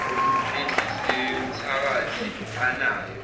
yenhliziyo yomthakathi anayo